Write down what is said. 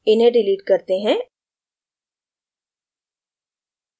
इन्हें डिलीट करते हैं